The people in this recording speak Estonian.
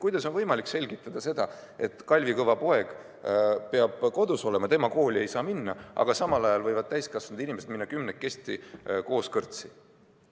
Kuidas on võimalik selgitada seda, et Kalvi Kõva poeg peab kodus olema, tema kooli ei saa minna, aga samal ajal võivad täiskasvanud inimesed minna kümnekesi koos kõrtsi?